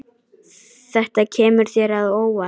Þetta kemur þér á óvart.